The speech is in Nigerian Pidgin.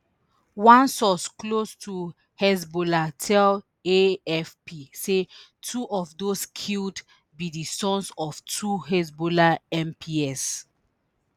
one source close to hezbollah tell afp say two of those killed be di sons of two hezbollah mps